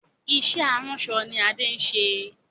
Ìṣe aránṣọ ni Adé ń ṣe.